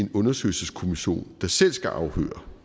en undersøgelseskommission der selv skal afhøre